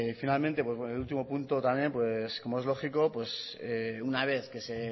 finalmente el último punto también como es lógico una vez que se